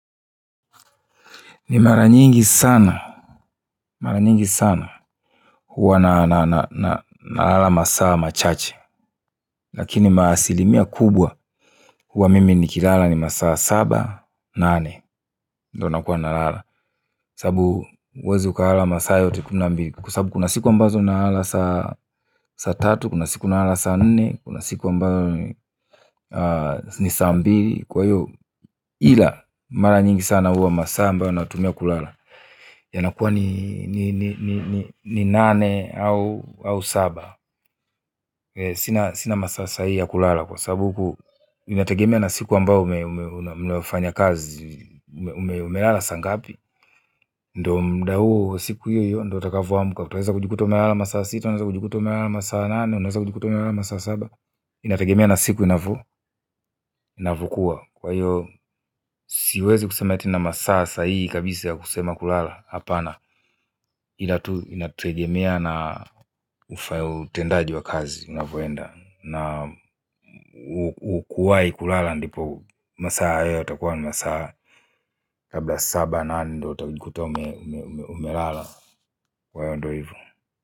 Ni mara nyingi sana mara nyingi sana huwa na nalala masaa machache lakini maasilimia kubwa huwa mimi ni kilala ni masaa saba, nane ndo nakuwa nalala kwasabu huwezi ukalala masaa yote kuna mbili. Kwasabu kuna siku ambazo nalala saa saa tatu, kuna siku nalala sa nne kuna siku ambayo ni saa mbili kwahiyo ila mara nyingi sana huwa masaa ambayo natumia kulala yana kuwa ni nane au au saba sina masaa sahihi ya kulala kwa sababu huku inategemea na siku ambayo mmefanya kazi umelala saa ngapi ndio mda huo siku hiyo hiyo ndio ntakavyo amka utaweza kujikuta umelala masaa sita utaweza kujikuta umelala masaa nane unaweza kujikuta umelala masaa saba inategemea na siku inavyo inavyokua. Kwa hiyo siwezi kusema eti na masaa sahihi kabisa ya kusema kulala hapana inategemea na ufayo utendaji wa kazi unavyoenda na ukuwahi kulala ndipo masaa haya utakuwa masaa labda saba nane ndo utakuta umelala kwahiyo ndo hivyo.